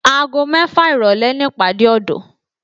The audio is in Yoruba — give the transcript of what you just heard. Aago mẹ́fà ìrọ̀lẹ́ ni ìpàdé ọ̀dọ́